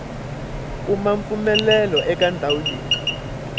kuma mpfumelelo eka ndhawu leyi